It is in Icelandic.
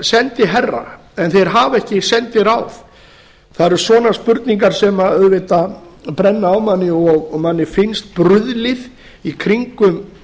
sendiherra en þeir hafa ekki sendiráð það eru svona spurningar sem auðvitað brenna á manni og manni finnst bruðlið í kringum